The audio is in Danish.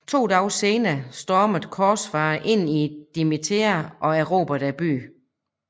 To dage senere stormede korsfarerne ind i Damietta og erobrede byen